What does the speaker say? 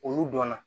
Olu dɔnna